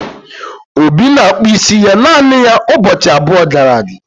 obi na-akpụ isi ya naanị ya ụbọchị abụọ gara aga